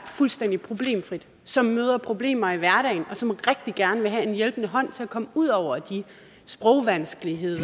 fuldstændig problemfrit som møder problemer i hverdagen og som rigtig gerne vil have en hjælpende hånd til at komme ud over sprogvanskeligheder